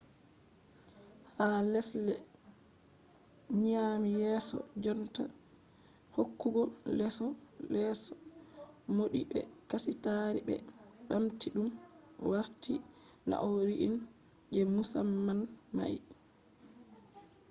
ha lesɗe nyaami yeeso jonta hokkugo leeso mauɗi be kasitaari ɓe ɓamti ɗum warti nau'i irin je musamman mai